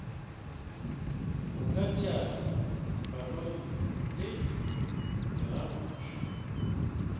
go kadiela dipalone le diralošwa